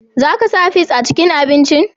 Za ka sa fis a cikin abincin?